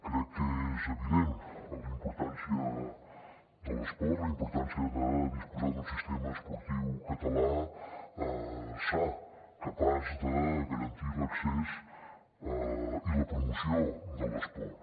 crec que és evident la importància de l’esport la importància de disposar d’un sistema esportiu català sa capaç de garantir l’accés i la promoció de l’esport